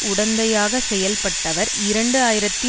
உடந்தையாக செயல்பட்டவர் இரண்டு ஆயிரத்தி